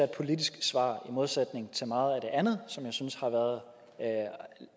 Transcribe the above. politisk svar i modsætning til meget af det andet som jeg synes har været